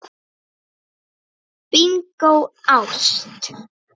Bingó: ást.